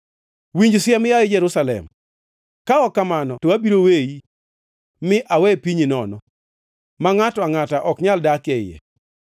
Winj siem, yaye Jerusalem, ka ok kamano to abiro weyi, mi awe pinyi nono, ma ngʼato angʼata ok nyal dak e iye.”